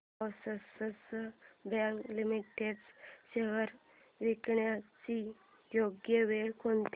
Axis bank limited shares विकण्याची योग्य वेळ कोणती